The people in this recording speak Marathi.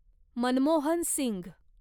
मनमोहन सिंघ